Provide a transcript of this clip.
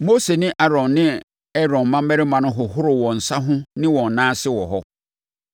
Mose ne Aaron ne Aaron mmammarima hohoroo wɔn nsa ho ne wɔn nan ase wɔ hɔ.